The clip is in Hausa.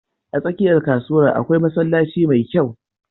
A tsakiyar kasuwar akwai masallaci mai kyau.